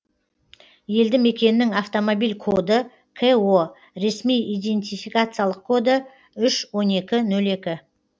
елді мекеннің автомобиль коды ко ресми идентификациялық коды үш он екі нөл екі